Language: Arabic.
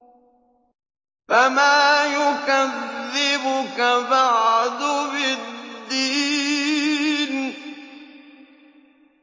فَمَا يُكَذِّبُكَ بَعْدُ بِالدِّينِ